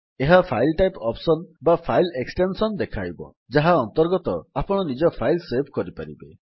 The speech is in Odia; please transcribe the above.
ଏହା ଫାଇଲ୍ ଟାଇପ୍ ଅପ୍ସନ୍ ବା ଫାଇଲ୍ ଏକ୍ସଟେନ୍ସନ୍ ଦେଖାଇବ ଯାହା ଅନ୍ତର୍ଗତ ଆପଣ ନିଜ ଫାଇଲ୍ ସେଭ୍ କରିପାରିବେ